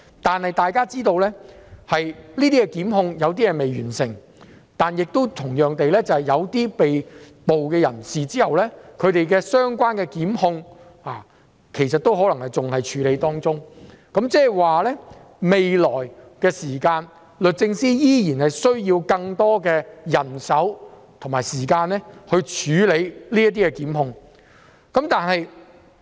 不過，大家要知道，有些檢控尚未完成，同樣地，有些被捕人士的相關檢控仍在處理中，即是律政司未來仍需要更多人手和時間處理這些檢控。